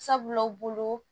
Sabula u bolo